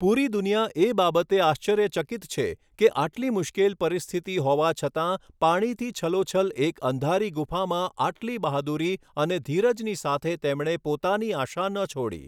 પૂરી દુનિયા એ બાબતે આશ્ચર્યચકિત છે કે, આટલી મુશ્કેલ પરિસ્થિતિ હોવા છતાં પાણીથી છલોછલ એક અંધારી ગુફામાં આટલી બહાદુરી અને ધીરજની સાથે તેમણે પોતાની આશા ન છોડી.